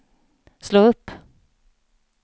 slå upp